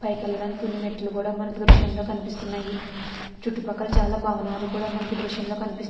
పైకి వేళ్లడానికి కొన్ని మెట్లు కూడా మనకు దృశ్యంలో కనిపిస్తున్నాయి. చుట్టుపక్కల చాలా భవనాలు కూడా మనకు దృశంలో కనిపి --